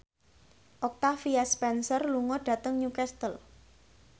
Octavia Spencer lunga dhateng Newcastle